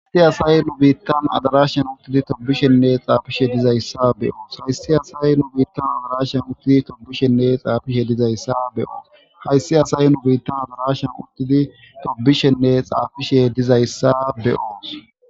Histi asay nu biittan adarashan uttidi tobishenne xaafishe dizayssa beyoos hayssi asay nu biittan adarashan uttidi tobishenne xaafishe dizayssa beyoos hayssi asay nu biittan adarashan uttidi tobishenne xaafishe dizayssa beyoos.